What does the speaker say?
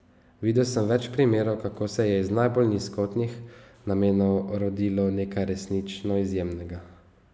Videl sem več primerov, kako se je iz najbolj nizkotnih namenov rodilo nekaj resnično izjemnega.